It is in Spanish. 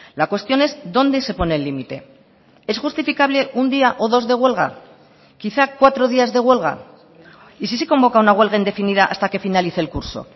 la cuestión es dónde se pone el límite es justificable un día o dos de huelga quizá cuatro días de huelga y si se convoca una huelga indefinida hasta que finalice el curso